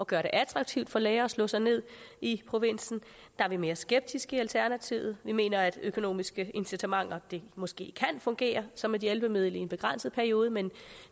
gøre det attraktivt for læger at slå sig ned i provinsen er vi mere skeptiske i alternativet vi mener at økonomiske incitamenter måske kan fungere som et hjælpemiddel i en begrænset periode men